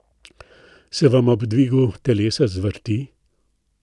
Se vam ob dvigu telesa zvrti?